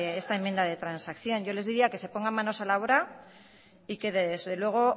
esta enmienda de transacción yo les diría que se pongan manos a la obra y que desde luego